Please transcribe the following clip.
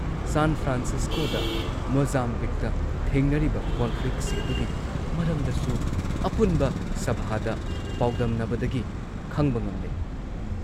ꯁꯥꯟ ꯐ꯭ꯔꯥꯟꯁꯤꯁꯀꯣꯗ, ꯃꯣꯖꯥꯝꯕꯤꯛꯇ ꯊꯦꯡꯅꯔꯤꯕ ꯀꯣꯟꯐ꯭ꯂꯤꯛꯁꯤꯡꯗꯨꯒꯤ ꯃꯔꯝꯗꯁꯨ ꯑꯄꯨꯟꯕ ꯁꯚꯥꯗ ꯄꯥꯎꯗꯝꯅꯕꯗꯒꯤ ꯈꯪꯕ ꯉꯝꯂꯦ ꯫